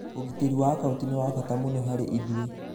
Ũgitĩri wa akaunti nĩ wa bata mũno harĩ ithuĩ